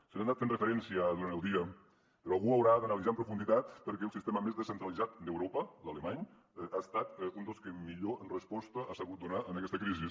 s’hi ha anat fent referència durant el dia però algú haurà d’analitzar amb profunditat per què el sistema més descentralitzat d’europa l’alemany ha estat un dels que millor resposta ha sabut donar a aquesta crisi